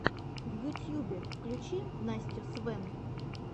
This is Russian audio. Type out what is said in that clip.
в ютьюбе включи настю свэн